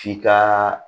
K'i ka